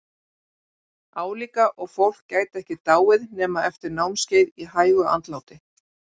Álíka og fólk gæti ekki dáið nema eftir námskeið í hægu andláti!